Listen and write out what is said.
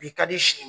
Bi ka di sini